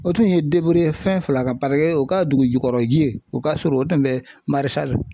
O tun ye ye fɛn fila kan o ka dugu jukɔrɔ ji ye o ka surun o tun bɛ .